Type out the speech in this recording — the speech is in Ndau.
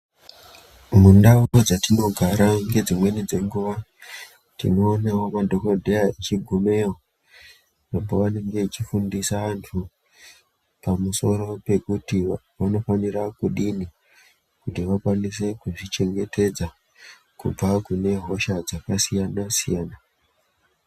Mundau dzedu dzatigara ngedzimweni dzenguwa tinoonawo madhokodheya echigumeyo pavanenge vechifundisa vantu pamusoro pekuti vanofanira kudini kuti vakwanise kuzvichengetedza kubva kunehosha dzakasiyana-siyana.